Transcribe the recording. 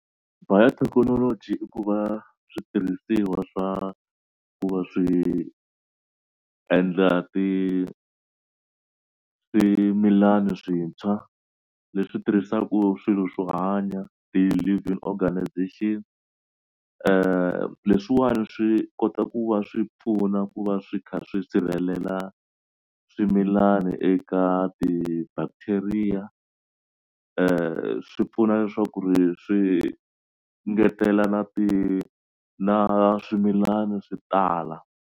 Biotechnology i ku va switirhisiwa swa ku va swi endla ti swimilani swintshwa leswi tirhisaka swilo swo hanya ti-living organisation leswiwani swi kota ku va swi pfuna ku va swi kha swi sirhelela swimilani eka ti-bacteria swi pfuna leswaku ri swi ngetela na ti na swimilana swi tala.